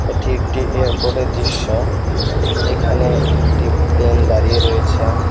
এটি একটি এয়ারপোর্টের দৃশ্য এখানে একটি প্লেন দাঁড়িয়ে রয়েছে।